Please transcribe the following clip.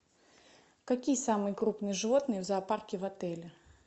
какие самые крупные животные в зоопарке в отеле